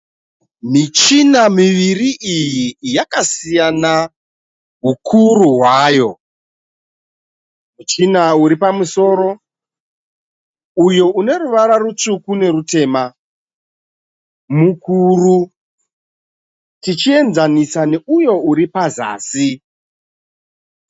Michina miviri iyi yakasiyana hukuru hwayo. Muchina uri pamusoro uyo une ruvara rutsvuku nerutema mukuru tichienzanisa neuyo uri pazasi.